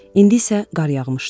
İndi isə qar yağmışdı.